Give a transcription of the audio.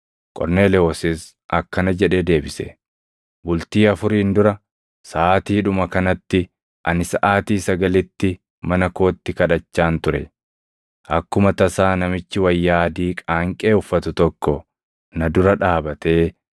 Qorneelewoosis akkana jedhee deebise: “Bultii afuriin dura, saʼaatiidhuma kanatti, ani saʼaatii sagalitti mana kootti kadhachaan ture. Akkuma tasaa namichi wayyaa adii qaanqee uffatu tokko na dura dhaabatee